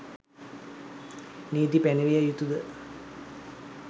නීති පැනවිය යුතු ද?